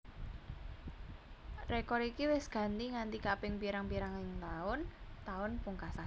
Rekor iki wis ganti nganti kaping pirang pirang ing taun taun pungkasan